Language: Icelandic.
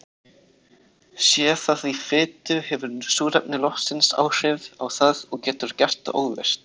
Sé það í fitu hefur súrefni loftsins áhrif á það og getur gert það óvirkt.